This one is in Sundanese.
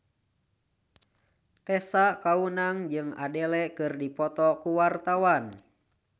Tessa Kaunang jeung Adele keur dipoto ku wartawan